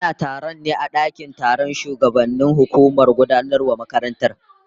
Ana taron ne a dakin taron shugabannin hukumar gudanarwar makarantar